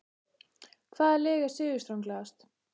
Hvaða lið er sigurstranglegast?